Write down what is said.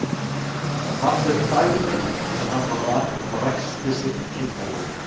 En Marteinn þagði eins og hann var vanur og ræskti sig kindarlegur.